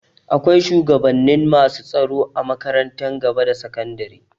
Akwai shugabannin masu tsaro a makarantun gaba da sakandari.